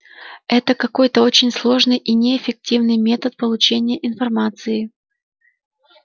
это какой-то очень сложный и неэффективный метод получения информации